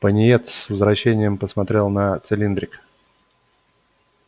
пониетс с отвращением посмотрел на цилиндрик